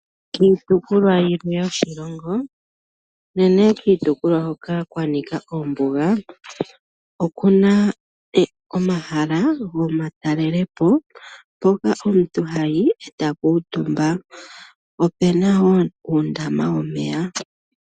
Kiitukulwa yimwe yoshilongo unene kiitukulwa hoka kwa nika ombuga okuna omahala gomatalelopo hoka omuntu hayi eta kuutumba. Opena wo uundama womeya.